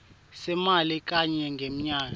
semali kanye ngemnyaka